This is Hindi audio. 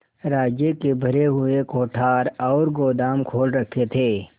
राज्य के भरे हुए कोठार और गोदाम खोल रखे थे